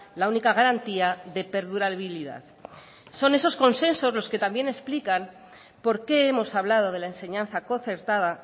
la única garantía de perdurabilidad son esos consensos los que también explican por qué hemos hablado de la enseñanza concertada